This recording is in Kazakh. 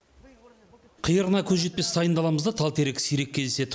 қиырына көз жетпес сайын даламызда тал терек сирек кездеседі